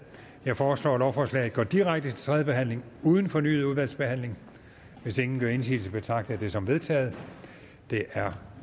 jeg foreslår at lovforslaget går direkte til tredje behandling uden fornyet udvalgsbehandling hvis ingen gør indsigelse betragter jeg det som vedtaget det er